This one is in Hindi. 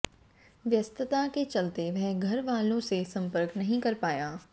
व्यस्तता के चलते वह घर वालों से संपर्क नहीं कर पाया